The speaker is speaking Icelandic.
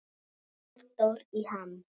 Halldór í ham